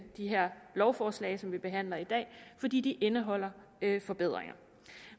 de her lovforslag som vi behandler i dag fordi de indeholder forbedringer